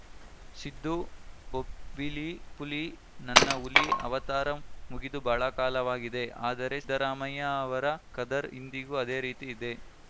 ಸಿದ್ದು ಬೊಬ್ಬಿಲಿ ಪುಲಿ ನನ್ನ ಹುಲಿ ಅವತಾರ ಮುಗಿದು ಬಹಳ ಕಾಲವಾಗಿದೆ ಆದರೆ ಸಿದ್ದರಾಮಯ್ಯ ಅವರ ಖದರ್‌ ಇಂದಿಗೂ ಅದೇ ರೀತಿ ಇದೆ